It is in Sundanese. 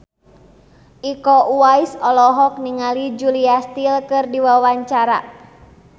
Iko Uwais olohok ningali Julia Stiles keur diwawancara